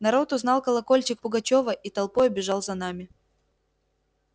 народ узнал колокольчик пугачёва и толпою бежал за нами